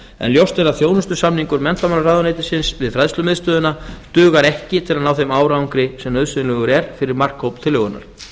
en ljóst er að þjónustusamningur án við fræðslumiðstöðina dugar ekki til að ná þeim árangri sem nauðsynlegur er fyrir markhóp tillögunnar